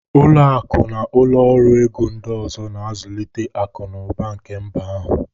Ụlọ akụ na ụlọ ọrụ ego ndị ọzọ na-azụlite akụ na ụba nke mba ahụ